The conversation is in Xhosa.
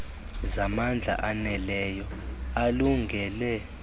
zamandla aneleyo alungele